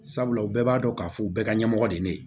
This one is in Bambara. Sabula u bɛɛ b'a dɔn k'a fɔ u bɛɛ ka ɲɛmɔgɔ de ye ne ye